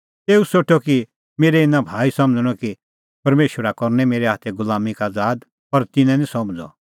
तेऊ सोठअ कि मेरै इना भाई समझ़णअ कि परमेशरा करनै मेरै हाथै गुलामीं का आज़ाद पर तिन्नैं निं समझ़अ